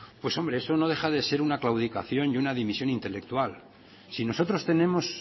pues hombre eso no deja de ser una claudicación y una división intelectual si nosotros tenemos